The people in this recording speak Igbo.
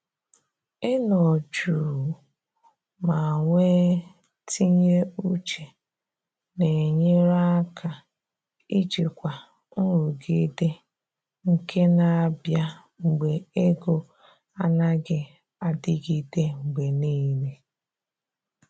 Ị nọ jụụ ma nwe tinye uche na enyere aka ijikwa nrụgide nke na abịa mgbe ego anaghị adịgide mgbe niile